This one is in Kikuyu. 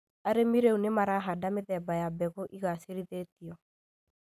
Arĩmi rĩu nĩmarahanda mĩthemba ya mbegũ igacĩrithĩtio